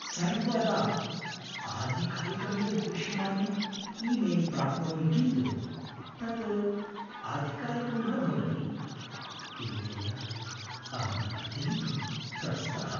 सर्वदा आधिकारिकमिव दृश्यमानं ई मेल् प्राप्नोमि किन्तु तत् आधिकारिकं न भवति । एतेन अहम् अत्यन्तं त्रस्तः ।